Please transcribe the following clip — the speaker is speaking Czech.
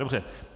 Dobře.